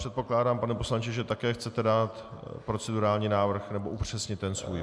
Předpokládám, pane poslanče, že také chcete dát procedurální návrh, nebo upřesnit ten svůj.